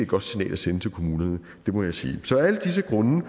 godt signal at sende til kommunerne det må jeg sige så af alle disse grunde